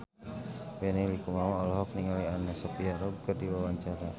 Benny Likumahua olohok ningali Anna Sophia Robb keur diwawancara